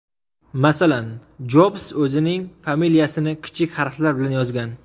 Masalan, Jobs o‘zining familiyasini kichik harflar bilan yozgan.